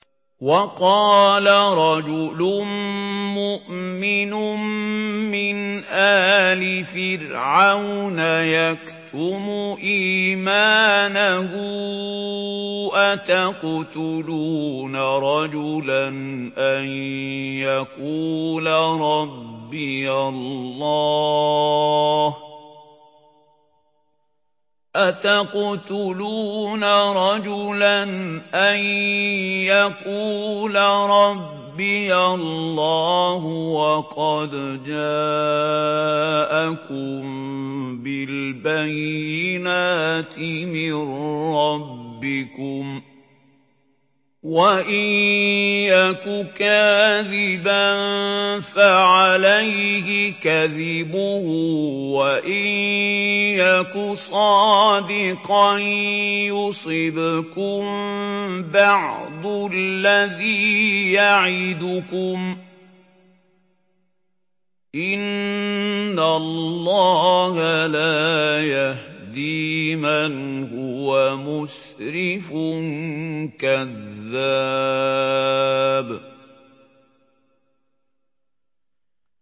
وَقَالَ رَجُلٌ مُّؤْمِنٌ مِّنْ آلِ فِرْعَوْنَ يَكْتُمُ إِيمَانَهُ أَتَقْتُلُونَ رَجُلًا أَن يَقُولَ رَبِّيَ اللَّهُ وَقَدْ جَاءَكُم بِالْبَيِّنَاتِ مِن رَّبِّكُمْ ۖ وَإِن يَكُ كَاذِبًا فَعَلَيْهِ كَذِبُهُ ۖ وَإِن يَكُ صَادِقًا يُصِبْكُم بَعْضُ الَّذِي يَعِدُكُمْ ۖ إِنَّ اللَّهَ لَا يَهْدِي مَنْ هُوَ مُسْرِفٌ كَذَّابٌ